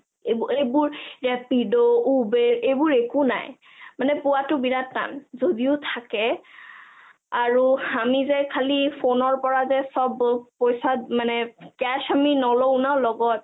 এইবোৰ ৰেপিদো, উবেৰ এইবোৰ একো নাই, মানে পোৱাটো বহুত টান, যদিও থাকে আৰু আমি যে খালী phone ৰ পৰা যে চব পইচা cash আমি নলও ন লগত